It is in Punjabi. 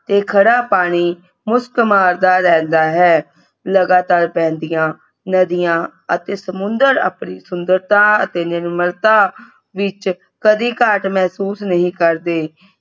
ਤੇ ਖੜਾ ਪਾਣੀ ਮੁਸਕ ਮਾਰਦਾ ਰਹਿੰਦਾ ਹੈ। ਲਗਾਤਾਰ ਵਹਿੰਦੀਆਂ ਨਦੀਆਂ ਅਤੇ ਸਮੁੰਦਰ ਆਪਣੀ ਸੁੰਦਰਤਾ ਅਤੇ ਨਿਰਮਲਤਾ ਵਿਚ ਕਦੀ ਘਾਟ ਮਹਿਸੂਸ ਨਹੀਂ ਕਰਦੇ।